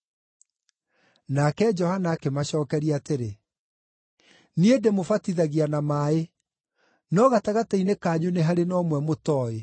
Nake Johana akĩmacookeria atĩrĩ, “Niĩ ndĩmũbatithagia na maaĩ. No gatagatĩ-inĩ kanyu nĩ harĩ na ũmwe mũtooĩ.